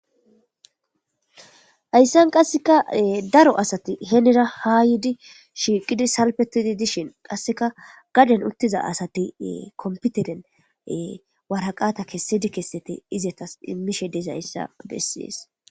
hayssan qasseka daro asati henera haa yidi shiiqidi salfetidi dishin qasseka gaden uttiza asati kompiteren waraqata kessedi kessete izetas immishe dezayssa bessidees